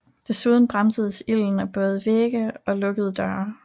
Desuden bremsedes ilden af både vægge og lukkede døre